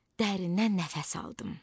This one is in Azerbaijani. Dərindən nəfəs aldım.